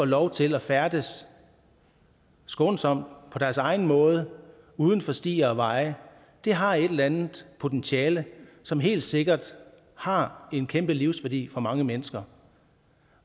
lov til at færdes skånsomt på deres egen måde uden for stier og veje har et eller andet potentiale som helt sikkert har en kæmpe livsværdi for mange mennesker